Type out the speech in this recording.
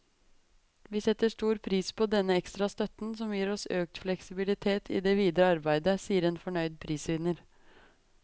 Vi setter stor pris på denne ekstra støtten, som gir oss økt fleksibilitet i det videre arbeidet, sier en fornøyd prisvinner.